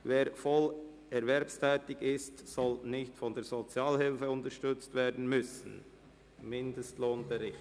«Wer voll erwerbstätig ist, soll nicht von der Sozialhilfe unterstützt werden müssen (Mindestlohnbericht)».